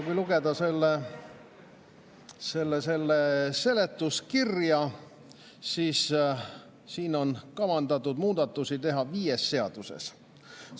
Kui lugeda selle seletuskirja, siis on kavandatud muudatusi teha viies seaduses.